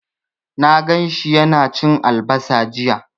Na gan shi yana cin albasa jiya.